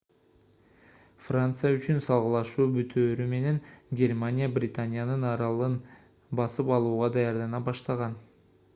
франция үчүн салгылашуу бүтөөрү менен германия британиянын аралын басып алууга даярдана баштаган